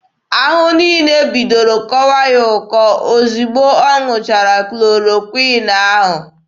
Ahụ niile bidoro kọwa ya ọkọ ozugbo ọ ṅụchara klorokwịn ahụ.